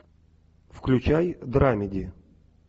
включай драмеди